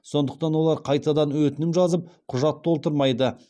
сондықтан олар қайтадан өтінім жазып құжат толтырмайды